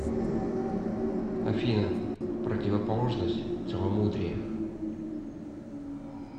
афина противоположность целомудрие